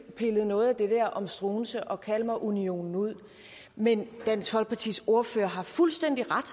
pillet noget af det der om struensee og kalmarunionen ud men dansk folkepartis ordfører har fuldstændig ret